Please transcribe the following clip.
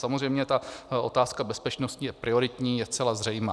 Samozřejmě ta otázka bezpečnosti je prioritní, je zcela zřejmá.